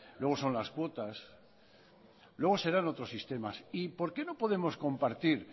luego son las cuotas luego serán otros sistemas y por qué no podemos compartir